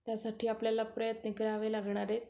त्यासाठी आपल्याला प्रयत्न करावे लागणार आहेत.